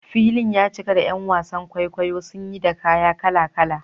Filin ya cika da ’yan wasan kwaikwayo sanye da kaya kala-kala.